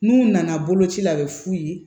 N'u nana boloci la a bɛ f'u ye